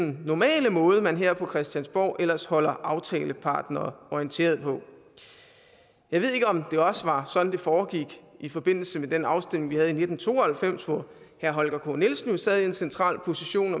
normale måde man her på christiansborg ellers holder aftalepartnere orienteret på jeg ved ikke om det også var sådan det foregik i forbindelse med den afstemning vi havde i nitten to og halvfems hvor herre holger k nielsen sad i en central position